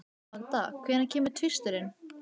Og frú Pettersson varð ósköp dapurleg í framan.